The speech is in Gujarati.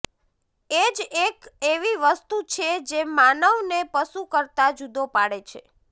એ જ એક એવી વસ્તુ છે જે માનવને પશુ કરતાં જુદો પાડે છે